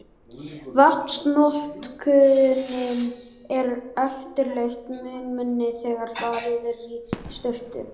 Vatnsnotkunin er yfirleitt mun minni þegar farið er í sturtu.